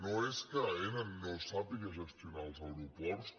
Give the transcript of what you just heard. no és que aena no sàpiga gestionar els aeroports